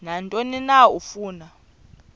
nantoni na afuna